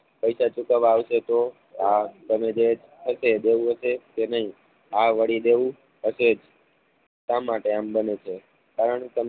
પૈસા ચૂકવવા આવશે તો આ તમે જે થશે દેવું હશે કે નઈ આ વળી દેવું હશે જ આ માટે આમ બને છે. કારણ